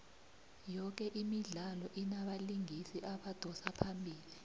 yoke imidlalo inabalingisi abadosa phambili